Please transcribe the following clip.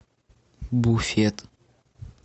буфет